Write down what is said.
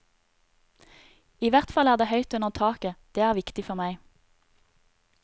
Ihvertfall er det høyt under taket, det er viktig for meg.